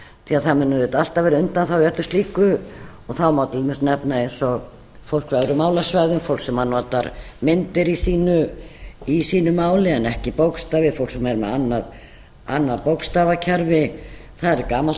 því að það mun auðvitað alltaf vera undanþága í öllu slíku þá má til dæmis nefna eins og fólk af öðrum málasvæðum fólk sem notar myndir í sínu máli en ekki bókstafi fólk sem er með annað bókstafakerfi það er gamalt